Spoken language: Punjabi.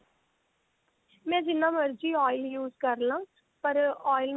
ਮੈਂ ਜਿੰਨਾ ਮਰਜੀ oil use ਕਰਲਾ ਪਰ oil